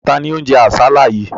Ta ni ó ń jẹ àsálà yìí?